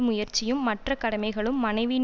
முயற்சியும் மற்ற கடமைகளும் மனைவியின்